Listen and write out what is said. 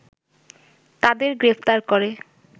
তাদের গ্রেপ্তার করে